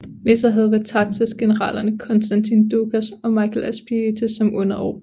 Med sig havde Vatatzes generalerne Konstantin Doukas og Michael Aspietes som underordnede